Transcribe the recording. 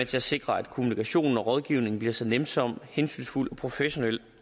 til at sikre at kommunikationen og rådgivningen bliver så nænsom hensynsfuld og professionel